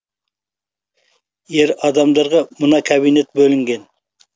ер адамдарға мына кабинет бөлінген